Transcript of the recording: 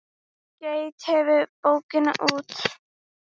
Geit gefur bókina út.